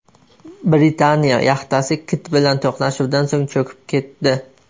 Britaniya yaxtasi kit bilan to‘qnashuvdan so‘ng cho‘kib ketdi.